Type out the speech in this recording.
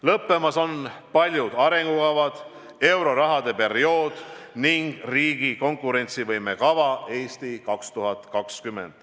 Lõppemas on paljud arengukavad, euroraha periood ja riigi konkurentsivõime kava "Eesti 2020".